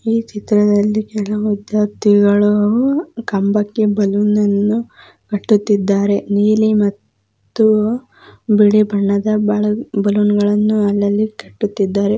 ಈ ಚಿತ್ರದಲ್ಲಿ ಕೆಲವು ವಿದ್ಯಾರ್ಥಿಗಳೂ ಕಂಬಕ್ಕೆ ಬಲೂನನನ್ನು ಕಟ್ಟುತ್ತಿದ್ದಾರೆ. ನೀಲಿ ಮ ತ್ತು ಬಿಳಿ ಬಣ್ಣದ ಬಳ ಬಲೂನ್ಗಳನ್ನು ಅಲ್ಲಲ್ಲಿ ಕಟ್ಟುತ್ತಿದ್ದಾರೆ.